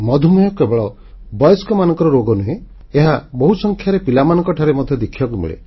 ମଧୁମେହ କେବଳ ବୟସ୍କମାନଙ୍କର ରୋଗ ନୁହେଁ ଏହା ବହୁସଂଖ୍ୟାରେ ପିଲାମାନଙ୍କଠାରେ ମଧ୍ୟ ଦେଖିବାକୁ ମିଳେ